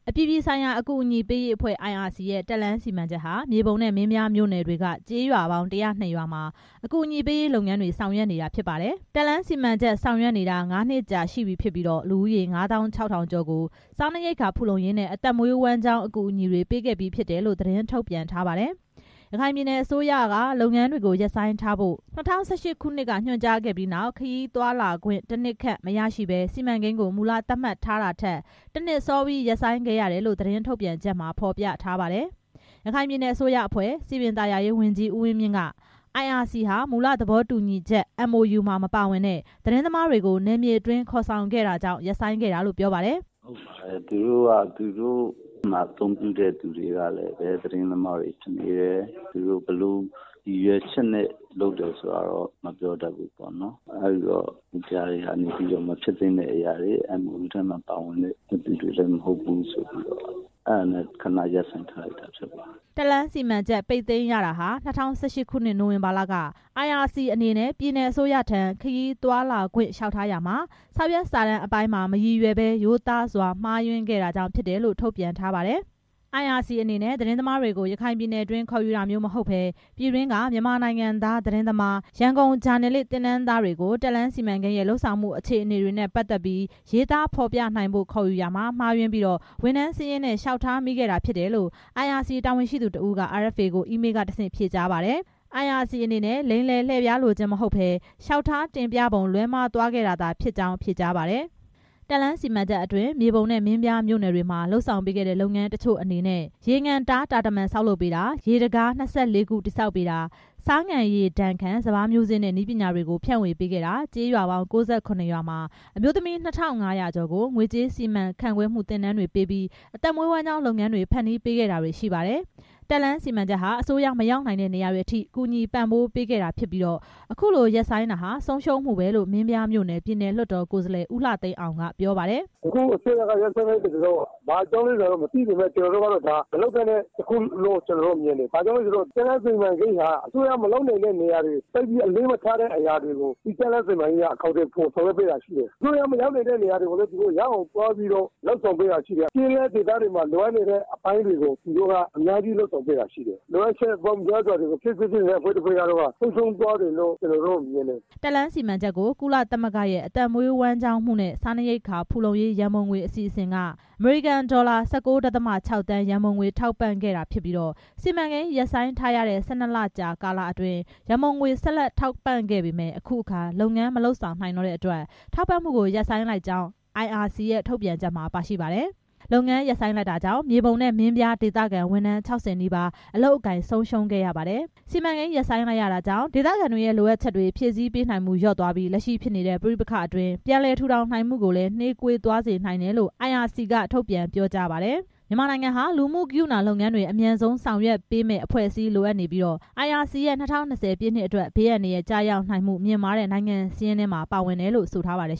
အပြည်ပြည်ဆိုင်ရာ အကူအညီပေးရေးအဖွဲ့ IRC ရဲ့ တက်လမ်းစီမံချက်ဟာ မြေပုံနဲ့ မင်းပြားမြို့နယ်တွေက ကျေးရွာပေါင်း ၁၀၂ ရွာမှာ အကူအညီပေးရေးလုပ်ငန်းတွေ ဆောင်ရွက်နေတာ ဖြစ်ပါတယ်။ တက်လမ်းစီမံချက် ဆောင်ရွက်နေတာ ၅နှစ်ကြာ ရှိပြီဖြစ်ပြီး လူဦးရေ ငါးသောင်းခြောက်ထောင်ကျော် ကို စားနပ်ရိက္ခာဖူလုံရေးနဲ့ အသက်မွေးဝမ်းကျောင်း အကူအညီတွေ ပေးခဲ့ပြီးဖြစ်တယ်လို့ သတင်းထုတ်ပြန် ထားပါတယ်။ ရခိုင်ပြည်နယ်အစိုးရက လုပ်ငန်းတွေ ရပ်ဆိုင်းထားဖို့ ၂၀၁၈ ခုနှစ်က ညွှန်ကြားခဲ့ပြီးနောက် ခရီးသွား လာခွင့် တစ်နှစ်ခန့် မရရှိပဲ စီမံကိန်းကို မူလသတ်မှတ်ထားတာထက် တစ်နှစ်စောပြီး ရပ်ဆိုင်းခဲ့ရ တယ်လို့ သတင်း ထုတ်ပြန်ချက်မှာ ဖော်ပြထားပါတယ်။ ရခိုင်ပြည်နယ်အစိုးရအဖွဲ့ စည်ပင်သာယာရေးဝန်ကြီး ဦးဝင်းမြင့်ဟာ IRC ဟာ မူလသဘောတူညီချက် MOU မှာမပါဝင်တဲ့ သတင်းသမားတွေကို နယ်မြေတွင်း ခေါ်ဆောင်ခဲ့တာကြောင့် ရပ်ဆိုင်းခဲ့တာလို့ ပြောပါတယ်။ ဟုတ်ပါတယ် သူတို့မှာအသုံးပြုတဲ့သူတွေက သတင်းသမားတွေဖြစ်နေတယ်။ သူတို့က ဘယ်လို ရည်ရွယ်ချက်နဲ့ လုပ်တယ်ဆိုတာ မပြောတတ်ဘူး အဲဒီတော့ ဒါတွေက မဖြစ်သင့်တဲ့အရာတွေ MOU ထဲမှာပါတဲ့ သူတွေလည်းမဟုတ်ဘူး ဖြစ်တာကြောင့် ခဏ ရပ်ဆိုင်းထားတာပါ။ တက်လမ်းစီမံချက် ပိတ်သိမ်းရတာဟာ ၂၀၁၈ ခုနှစ် နိုဝင်ဘာလက IRC အနေနဲ့ ပြည်နယ်အစိုးရထံ ခရီး သွားလာခွင့် လျှောက်ထားရာမှာ စာရွက်စာတမ်းအပိုင်းမှာ မရည်ရွယ်ဘဲ ရိုးသားစွာ မှားယွင်းခဲ့တာကြောင့် ဖြစ်တယ်လို့ ထုတ်ပြန်ထားပါတယ်။ IRC အနေနဲ့ သတင်းသမားတွေကို ရခိုင်ပြည်နယ်တွင်း ခေါ်ယူတာမျိုးမဟုတ်ပဲ ပြည်တွင်းက မြန်မာနိုင်ငံသား သတင်းသမား ရန်ကုန်ဂျာနယ်လစ် သင်တန်းသားတွေကို တက်လမ်းစီမံကိန်းရဲ့ လုပ်ဆောင်မှု အခြေအနေတွေနဲ့ ပတ်သက်ပြီး ရေးသားဖော်ပြနိုင်ဖို့ ခေါ်ယူရာမှာ မှားယွင်းပြီး ဝန်ထမ်းစာရင်းနဲ့ လျှောက်ထားမိခဲ့တာ ဖြစ်တယ်လို့ IRC တာဝန်ရှိသူတစ်ဦးက RFA ကို အီးမေးလ်က တစ်ဆင့်ဖြေကြားပါတယ်။ IRC အနေနဲ့ လိမ်လည် လှည့်ဖျားလိုခြင်း မဟုတ်ပဲ လျှောက်ထားတင်ပြပုံ လွဲမှားသွားခဲ့တာ သာဖြစ်ကြောင်း ဖြေကြားပါတယ်။ တက်လမ်းစီမံချက်အတွင်း မြေပုံနဲ့ မင်းပြားမြို့နယ်တွေမှာ လုပ်ဆောင်ပေးတဲ့လုပ်ငန်း တချို့အနေနဲ့ ရေငန်တား တာတမံဆောက်လုပ်ပေးတာ၊ ရေတံခါး ၂၄ ခုတည်ဆောက်ပေးတာ၊ ဆားငန်ရေဒါဏ်ခံ စပါးမျိုးစေ့နဲ့ နည်းပညာတွေကို ဖြန့်ဝေပေးခဲ့တာ ကျေးရွာပေါင်း ၉၇ ရွာမှာ အမျိုးသမီး ၂၅၀၀ ကျော် ကို ငွေကြေးစီမံခန့်ခွဲမှု သင်တန်းတွေပေးပြီး အသက်မွေးဝမ်းကျောင်း လုပ်ငန်းတွေ ဖန်တီးပေးခဲ့ တာတွေ ရှိပါတယ်။ တက်လမ်းစီမံချက်ဟာ အစိုးရမရောက်နိုင်တဲ့ နေရာတွေအထိ ပံ့ပိုးကူညီပေးနိုင်ခဲ့တာဖြစ်ပြီး ခုလို ရပ်ဆိုင်း လိုက်ရတာဟာ ဆုံးရှုံးမှုပဲလို့ မင်းပြားမြို့နယ် ပြည်နယ်လွှတ်တော် ကိုယ်စားလှယ် ဦးလှသိန်းအောင်က ပြောပါတယ်။ အခုအစိုးရက ရပ်ဆိုင်းလိုက်တာ ဘာကြောင့်လဲဆိုတာ မသိပေမယ့် မလုပ်သင့်တဲ့ အရာတစ်ခုလို့တော့ မြင်တယ်။ ဘာကြောင့်လဲဆိုတော့ တက်လမ်းစီမံကိန်းဟာ အစိုးရမလုပ်နိုင်တဲ့ နေရာတွေ သိပ်ပြီး အလေးမထားတဲ့ အရာတွေကို တက်လမ်းက အကောင်အထည်ဖော်ပေးတာ ရှိတယ်။ အစိုးရမသွားနိုင်တဲ့ နေရာတွေကို ရောက်အောင်သွားပြီး အများကြီး လုပ်ဆောင်ပေးတာ ရှိတယ် ကျေးလက်ဒေသက လိုအပ်တဲ့ အပိုင်းတွေကို လုပ်ဆောင်ပေးနေတာရှိတယ်။ လိုအပ်ချက်ပေါင်းများစွာကို ဖြည့်စည်းပေးနေတဲ့ အဖွဲ့တစ်ဖွဲ့ ဆုံးရှုံးသွားတယ်လို့ မြင်တယ်။ တက်လမ်းစီမံချက်ကို "ကုလသမဂ္ဂရဲ့ အသက်မွေးဝမ်းကျောင်းမှုနှင့် စားနပ်ရိက္ခာဖူလုံရေး ရန်ပုံငွေ အစီအစဉ်" က အမေရိကန်ဒေါ်လာ ၁၉ ဒသမ ၆ သန်း ရန်ပုံငွေ ထောက်ပံ့ခဲ့တာဖြစ်ပြီး စီမံကိန်း ရပ်ဆိုင်းထားရတဲ့ ၁၂ လကြာ ကာလအတွင်း ရန်ပုံငွေ ဆက်လက်ထောက်ပံ့ခဲ့ပေမယ့် အခုအခါ လုပ်ငန်းမလုပ်ဆောင်နိုင်တော့တဲ့အတွက် ထောက်ပံ့မှုကို ရပ်ဆိုင်းလိုက်ကြောင်း IRC ရဲ့ ထုတ်ပြန်ချက်မှာ ပါရှိပါတယ်။ လုပ်ငန်း ရပ်ဆိုင်းလိုက်ရတာကြောင့် မြေပုံနဲ့ မင်းပြားဒေသခံ ဝန်ထမ်း ၆၀ နီးပါး အလုပ်အကိုင်ဆုံးရှုံးခဲ့ ရပါတယ်။ စီမံကိန်း ရပ်ဆိုင်းလိုက်ရတာကြောင့် ဒေသခံတွေရဲ့လိုအပ်ချက်တွေ ဖြည့်စည်းပေးနိုင်မှု လျော့သွားပြီး လက်ရှိဖြစ်နေတဲ့ ပဋိပက္ခအတွင်း ပြန်လည် ထူထောင်နိုင်မှုကိုလည်း နှေးကွေးသွားစေနိုင်တယ်လို့ IRC က ထုတ်ပြန်ပြောကြားပါတယ်။ မြန်မာနိုင်ငံဟာ လူမှုကရုဏာလုပ်ငန်းတွေ အမြန်ဆုံးဆောင်ရွက်ပေးမယ့် အဖွဲ့အစည်းလိုအပ်နေပြီး IRC ရဲ့ ၂၀၂၀ ပြည့်နှစ်အတွက် ဘေးအန္တရာယ် ကျရောက်နိုင်မှု မြင့်မားတဲ့ နိုင်ငံစာရင်းထဲမှာ ပါဝင်တယ်လို့ ဆိုထားပါတယ်